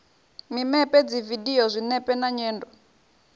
mimepe dzividio zwinepe na nyendo